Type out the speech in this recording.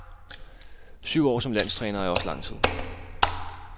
Syv år som landstræner er også lang tid.